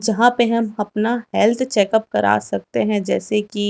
जहां पे हम अपना हेल्थ चेकअप करा सकते हैं जैसे की--